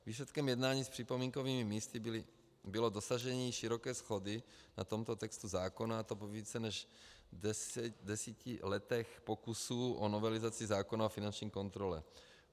Výsledkem jednání s připomínkovými místy bylo dosažení široké shody na tomto textu zákona, a to po více než deseti letech pokusů o novelizaci zákona o finanční kontrole.